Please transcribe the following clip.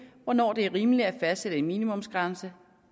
hvornår det er rimeligt at fastsætte en minimumsgrænse